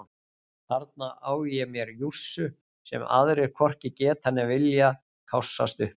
Þarna á ég mér jússu sem aðrir hvorki geta né vilja kássast upp á.